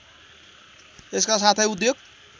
यसका साथै उद्योग